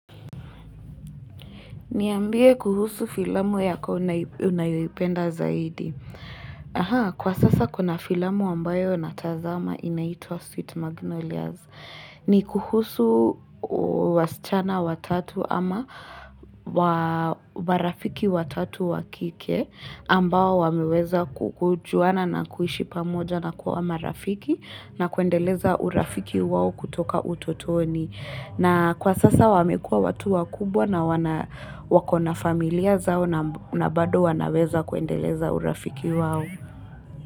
Niambie kuhusu filamu yako unayoipenda zaidi. Kwa sasa kuna filamu ambayo natazama inaitwa Sweet Magnolias. Ni kuhusu wasichana watatu ama marafiki watatu wakike ambao wameweza kujuana na kuishi pamoja na kuwa marafiki na kuendeleza urafiki wao kutoka utotoni. Na kwa sasa wamekua watu wakubwa na wako na familia zao na bado wanaweza kuendeleza urafiki wao.